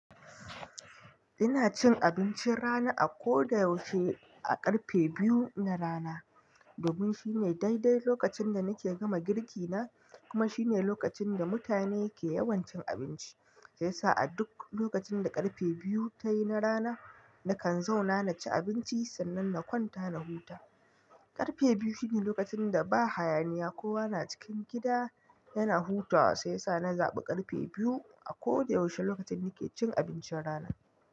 Ina cin abincin rana a ko da yaushe a ƙarfe biyu na rana. Domin shi ne daidai lokacin da nake gama girki na kuma shine lokacin da mutane ke yawancin abinci. Saivyasa a duk lokacin da ƙarfe biyu tayi na rana, nakan zauna na ci abinci sannan na kwanta na huta. Karfe biyu shine lokacin da ba hayaniya kowa na cikin gida yana hutawa. Sai yasa na zaɓi ƙarfe biyu a ko da yaushe lokacin nake cin abincin rana.